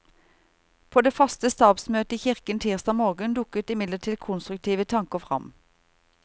På det faste stabsmøtet i kirken tirsdag morgen dukker imidlertid konstruktive tanker frem.